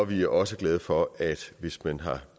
vi er også glade for at hvis man har